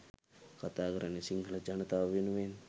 කතා කරන්නේ සිංහල ජනතාව වෙනුවෙන්.